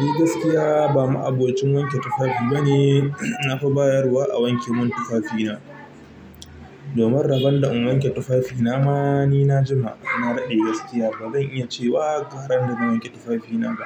Ni gaskiya ba ma'abocin wanke tufafi bane. Na fi bayarwa a wanke mun tufafina. Domin rabon da in wanke tufafina ma ni na jima. Na daɗe gaskiya bazan iya ce wa garan da zan wanke tufafina ba.